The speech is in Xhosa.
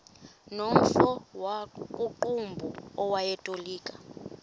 nomfo wakuqumbu owayetolika